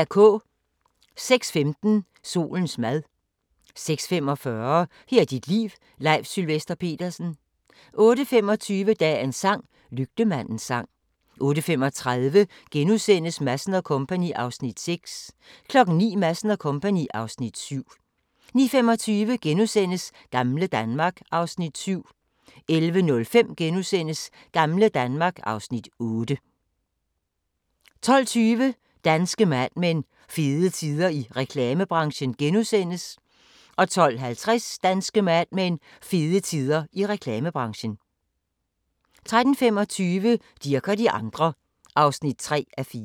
06:15: Solens mad 06:45: Her er dit liv – Leif Sylvester Petersen 08:25: Dagens sang: Lygtemandens sang 08:35: Madsen & Co. (Afs. 6)* 09:00: Madsen & Co. (Afs. 7) 09:25: Gamle Danmark (Afs. 7)* 11:05: Gamle Danmark (Afs. 8)* 12:20: Danske Mad Men: Fede tider i reklamebranchen * 12:50: Danske Mad Men: Fede tider i reklamebranchen 13:25: Dirch og de andre (3:4)